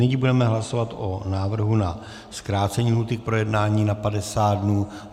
Nyní budeme hlasovat o návrhu na zkrácení lhůty k projednání na 50 dnů.